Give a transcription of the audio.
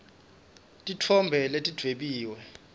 titfombe letidvwebiwe